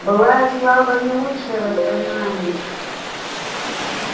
былая слава не лучшее воспоминание